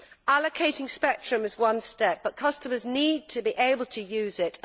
Allocating spectrum is one step but customers need to be able to use it.